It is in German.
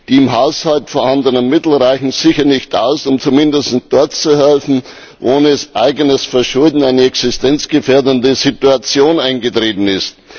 Die im Haushalt vorhanden Mittel reichen sicher nicht aus, um zumindest dort zu helfen, wo ohne eigenes Verschulden eine existenzgefährdende Situation eingetreten ist.